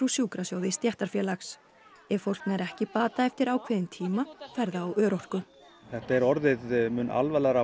sjúkrasjóði stéttarfélags ef fólk nær ekki bata eftir ákveðinn tíma fer það á örorku þetta er orðið mun alvarlegra